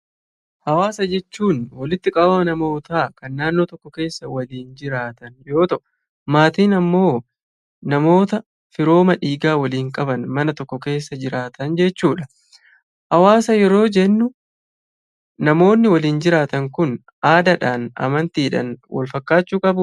Hawaasa jechuun; walitti qabama namoota Kan naannoo tokkoo keessa walin jiraatan yoo ta'u, maatiin ammoo namoota firooma dhiigaa walin qaban mana tokko keessa jiraatan jechuudha. Hawaasa yeroo jennu, namoonni walin jiraatan kun; aadaadhaan, amantiidhaan Wal fakkaachuu?